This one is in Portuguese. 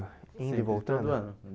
Indo e voltando Sempre, todo ano.